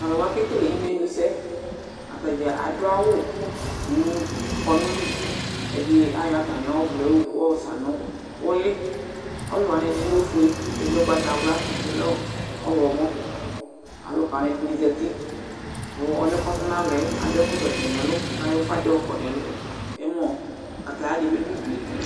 Tʋ alʋwa kekele imenusɛ, atadza adʋ awʋ mʋ kɔnʋ li, adɩ ayɔ atamɩ ɔvlɛ yɛ yɔsa nʋ ʋlɩ, ɔvlɛ wanɩ, ɛdɩnɩ lɛ ofue, ɛdɩnɩ lɛ ʋgbatawla, ɛdɩnɩ lɛ ɔɣlɔmɔ Alʋka wanɩ ɛdɩnɩ zati, mʋ ɔlʋ yɛ kʋ ɔtɔ nʋ alɔ yɛ adʋ ɛkɔtɔ dɩ nʋ ɛlʋ kʋ ayɔ ʋfa dɩ yɔkɔ nʋ ɛmɔ, kataya dɩ bɩ dʋ udu yɛ